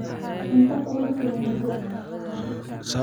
Cunta kulafilan ridho.